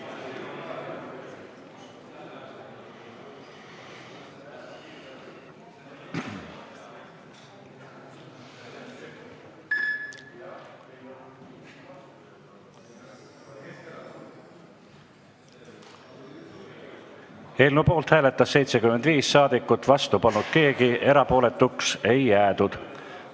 Hääletustulemused Eelnõu poolt hääletas 75 saadikut, vastu polnud keegi, erapooletuks ei jäädud.